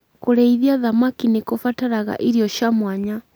Kũrĩithia thamaki nĩ kũbataraga irio cia mwanya.